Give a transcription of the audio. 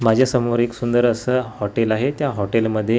माझ्यासमोर एक सुंदर असं हॉटेल आहे त्या हॉटेलमध्ये --